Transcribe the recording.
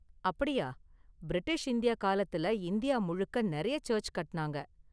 அப்படியா, British India காலத்துல India முழுக்க நெறைய சர்ச்சு கட்டுனாங்க.